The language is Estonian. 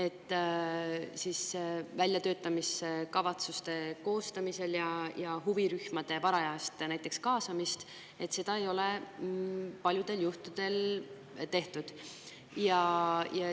Näiteks väljatöötamiskavatsuste koostamist, samuti huvirühmade varajast kaasamist ei ole paljudel juhtudel tehtud.